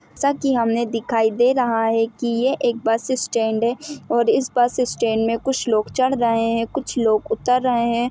जैसा कि हमें दिखाई दे रहा है कि यह एक बस स्टैन्ड है और इस बस स्टैन्ड में कुछ लोग चढ़ रहे है कुछ लोग उतर रहे हैं।